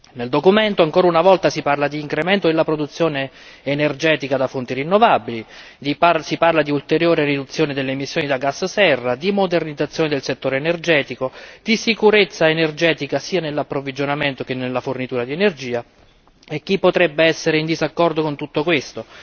Nel documento ancora una volta si parla di incremento della produzione energetica da fonti rinnovabili, si parla di ulteriore riduzione delle emissioni da gas serra, di modernizzazione del settore energetico, di sicurezza energetica sia nell'approvvigionamento sia nella fornitura di energia, e chi potrebbe essere in disaccordo con tutto questo?